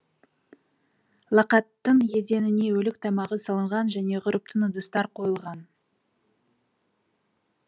лақаттың еденіне өлік тамағы салынған және ғұрыптың ыдыстар қойылған